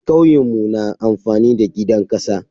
Kauyemu na amfani da gidan kasa.